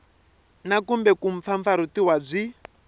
na kumbe ku mpfampfarhutiwa byi